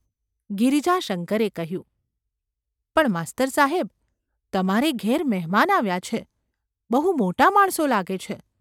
’ ગિરિજાશંકરે કહ્યું. ‘પણ માસ્તર સાહેબ ! તમારે ઘેર મહેમાન આવ્યા છે; બહુ મોટા માણસો લાગે છે.